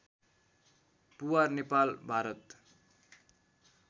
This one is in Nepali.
पुवार नेपाल भारत